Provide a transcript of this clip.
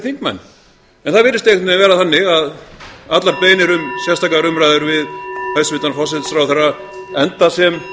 þingmenn en það virðist einhvern veginn vera þannig að allar beiðnir um sérstakar umræður við hæstvirtan forsætisráðherra enda sem